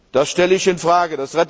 Das stelle ich in Frage.